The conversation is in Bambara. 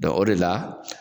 o de la,